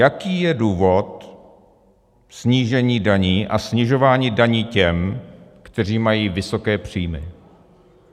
Jaký je důvod snížení daní a snižování daní těm, kteří mají vysoké příjmy.